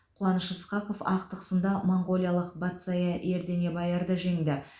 қуаныш ысқақов ақтық сында моңғолиялық батзая ерденебаярды жеңді